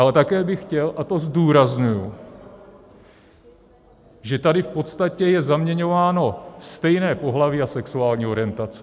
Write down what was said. Ale také bych chtěl, a to zdůrazňuji, že tady v podstatě je zaměňováno stejné pohlaví a sexuální orientace.